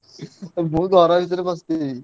ମୁଁ ଘର ଭିତରେ ପଶିଥିବି